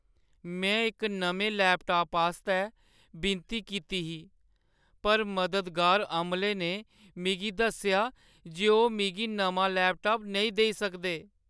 में इक नमें लैपटाप आस्तै विनती कीती ही पर मददगार अमले ने मिगी दस्सेआ जे ओह् मिगी नमां लैपटाप नेईं देई सकदे।